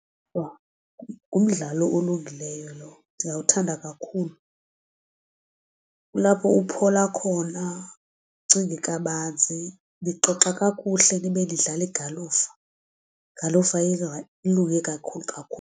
Ngumdlalo olungileyo lowo ndiyawuthanda kakhulu kulapho uphola khona ucinge kabanzi nixoxa kakuhle nibe nidlala igalufa, igalufa ilunge kakhulu kakhulu.